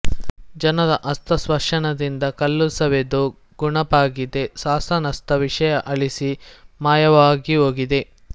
ಜನರ ಹಸ್ತ ಸ್ಪರ್ಶನದಿಂದ ಕಲ್ಲುಸವೆದು ನುಣಪಾಗಿದೆ ಶಾಸನಸ್ಥ ವಿಷಯ ಅಳಿಸಿ ಮಾಯವಾಗಿಹೋಗಿದೆ